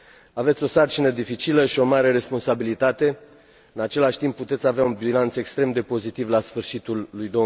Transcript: Aveți o sarcină dificilă și o mare responsabilitate, în același timp puteți avea un bilanț extrem de pozitiv la sfârșitul lui